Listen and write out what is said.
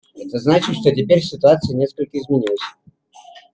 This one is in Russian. это значит что теперь ситуация несколько изменилась